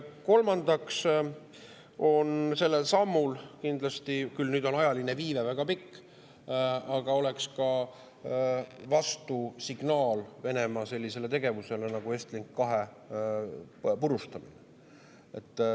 Kolmandaks on see samm kindlasti – nüüd on küll ajaline viive väga pikk – ka vastusignaal Venemaa sellisele tegevusele nagu Estlink 2 purustamine.